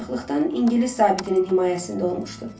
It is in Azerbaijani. Uşaqlıqdan ingilis zabitinin himayəsində olmuşdu.